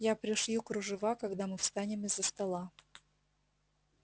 я пришью кружева когда мы встанем из-за стола